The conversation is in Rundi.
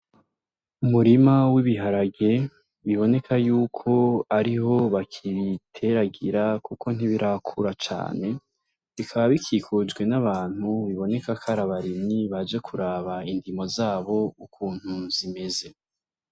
Umurima w'ibiharage biboneka yuko ariho bakibiteragira kuko ntibirakura cane, bikaba bikikujwe n'abantu biboneka ko ar'abarimyi baje kuraba indimo zabo ukuntu zimeze.